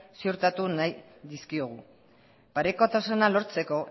ziurtatu nahi dizkiogu parekotasuna lortzeko